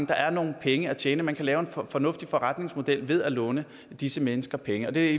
der er nogle penge at tjene man kan lave en fornuftig forretningsmodel ved at låne disse mennesker penge det